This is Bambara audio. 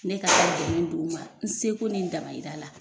Ne ka kan dɛmɛn don u ma n se ko ni n dama yira la